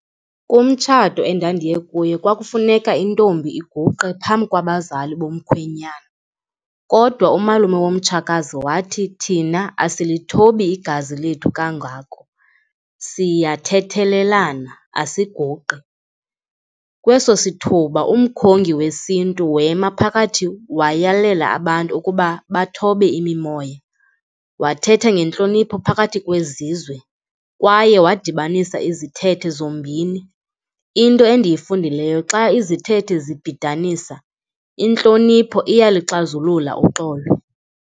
Kumtshato endandiye kuwo kwakufuneka intombi iguqe phambi kwabazali bomkhwenyana kodwa umalume womtshakazi wathi thina asilithobi igazi lethu kangako. Siyathethelelana, asiguqi. Kweso sithuba umkhongi wesiNtu wema phakathi, wayalele abantu ukuba bathobe imimoya. Wathetha ngentlonipho phakathi kwezizwe kwaye wadibanisa izithethe zombini. Into endiyifundileyo xa izithethe zibhidanisa, intlonipho iyaluxazulula uxolo.